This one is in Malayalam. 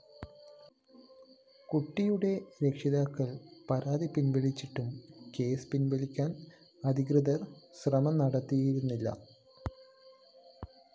കുട്ടിയുടെ രക്ഷിതാക്കള്‍പരാതി പിന്‍വലിച്ചിട്ടും കേസ് പിന്‍വലിക്കാന്‍ അധികൃതര്‍ ശ്രമം നടത്തിയിരുന്നില്ല